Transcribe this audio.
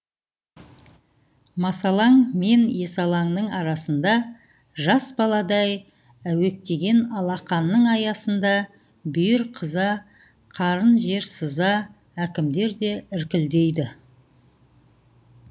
масалаң мен есалаңның арасында жас баладай әуектеген алақанның аясында бүйір қыза қарын жер сыза әкімдер де іркілдейді